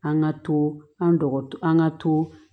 An ka to an dɔgɔtɔrɔ an ka to